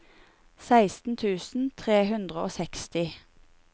seksten tusen tre hundre og seksti